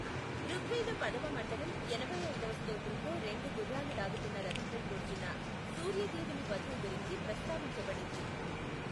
ఋగ్వేద పదవ మండలం, ఎనభై ఐదవ స్తోత్రంలో రెండు గుర్రాలు లాగుతున్న రథంపై కూర్చున్న సూర్య దేవుని వధువు గురించి ప్రస్తావించబడింది.